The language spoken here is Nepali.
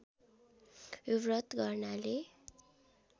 यो व्रत गर्नाले